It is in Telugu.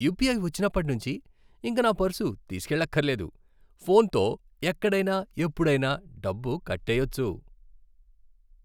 యుపిఐ వచ్చినప్పటి నుంచి ఇక నా పర్సు తీసుకెళ్లక్కర్లేదు. ఫోన్తో ఎక్కడైనా ఎప్పుడైనా డబ్బు కట్టెయ్యొచ్చు.